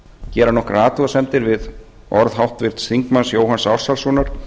gera nokkrar athugasemdir við orð háttvirts þingmanns jóhanns ársælssonar